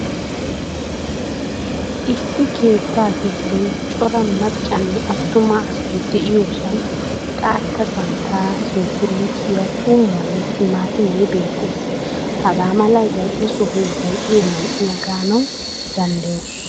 Issi keettaa giddon cora maccanne attumaa asay deiyosay xaattaa santta, sunkkuruttiya, tummuwaanne timaatimee beetees. Hagaamala zal'ee sohoy zal'iyaa ma'niyaa gaanawu danddayoos.